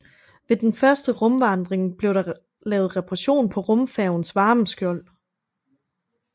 Ved den første rumvandring blev der lavet reparation på rumfærgens varmeskjold